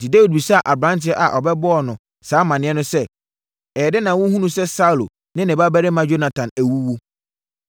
Enti, Dawid bisaa aberanteɛ a ɔbɛbɔɔ no saa amaneɛ no sɛ, “Ɛyɛɛ dɛn na wohunuu sɛ Saulo ne ne babarima Yonatan awuwu?”